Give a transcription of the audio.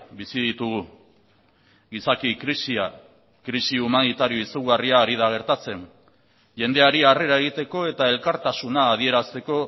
bizi ditugu gizaki krisia krisi humanitario izugarria ari da gertatzen jendeari harrera egiteko eta elkartasuna adierazteko